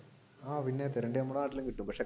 ആഹ് പിന്നെ നമ്മുടെ നാട്ടിലും കിട്ടും പക്ഷെ